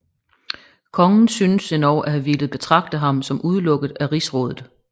Kongen synes endog at have villet betragte ham som udelukket af rigsrådet